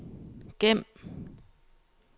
gem